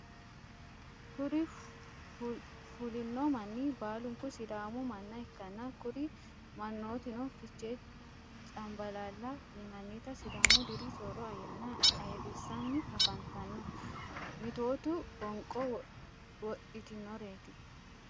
kuri fulino mani balinku sidamu mana ikana kuri manotino fiche chanibalala yinaita sidamu diri soro ayana ayirisani afanitano mitotu woniqo wotitnoret.